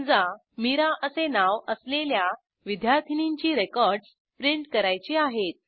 समजा मिरा असे नाव असलेल्या विद्यार्थीनींची रेकॉर्डस प्रिंट करायची आहेत